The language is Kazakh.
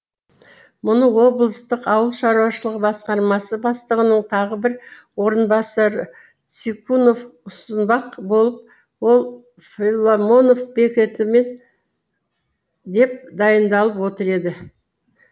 мұны облыстық ауыл шаруашылығы басқармасы бастығының тағы бір орынбасары цикунов ұсынбақ болып ал филомонов бекітемін деп дайындалып отыр еді